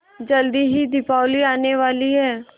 जल्दी ही दीपावली आने वाली है